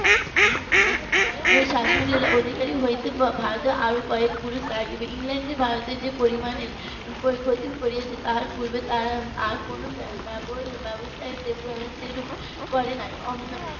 শাসনের অধিকারী হতে ভারতের আরো কয়েক পুরুষ লাগবে ইংল্যান্ডের ভারতের যে পরিমানের ক্ষতি করেছে তার পূর্বে আর তারা কোনো ব্যবস্থা সেইরূপ করে নি